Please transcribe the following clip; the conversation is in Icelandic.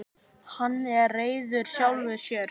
Hann er reiður sjálfum sér.